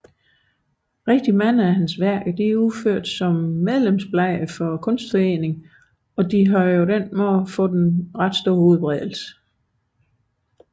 Adskillige af hans arbejder er udført som medlemsblade for Kunstforeningen og have således fået ikke ringe udbredelse